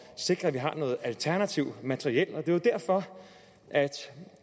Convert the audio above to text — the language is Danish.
sikre at vi har noget alternativt materiel og det er jo derfor at